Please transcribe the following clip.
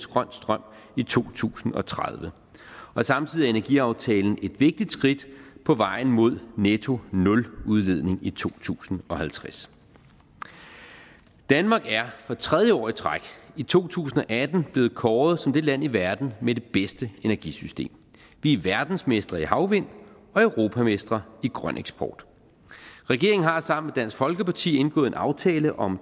grøn strøm i to tusind og tredive samtidig er energiaftalen et vigtigt skridt på vejen mod nettonuludledning i to tusind og halvtreds danmark er for tredje år i træk i to tusind og atten blevet kåret som det land i verden med det bedste energisystem vi er verdensmestre i havvind og europamestre i grøn eksport regeringen har sammen med dansk folkeparti indgået en aftale om